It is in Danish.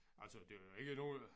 Altså det er jo ikke nogen